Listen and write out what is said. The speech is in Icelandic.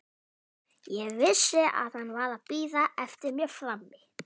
Ég vissi að hann var að bíða eftir mér frammi.